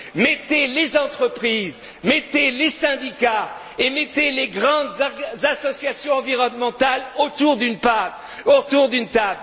Mettez les entreprises, mettez les syndicats et mettez les grandes associations environnementales autour d'une table.